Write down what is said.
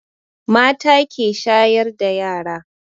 Mata ke shayar da yara